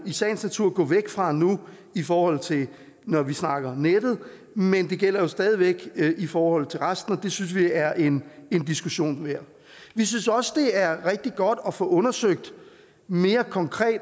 sagens natur gå væk fra nu i forhold til når vi snakker nettet men det gælder jo stadig væk i forhold til resten og det synes vi er en diskussion værd vi synes også det er rigtig godt at få undersøgt mere konkret i